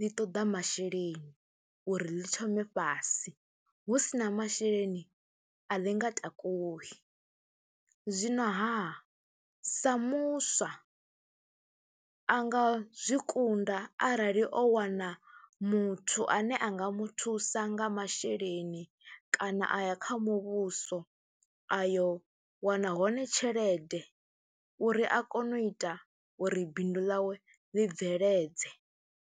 ḽi ṱoḓa masheleni uri ḽi thome fhasi hu si na masheleni a ḽi nga takuwi. Zwinoha, sa muswa a nga zwi kunda arali o wana muthu ane a nga muthu sa nga masheleni kana a ya kha muvhuso a yo wana hone tshelede uri a kone u ita uri bindu ḽawe ḽi bveledzea.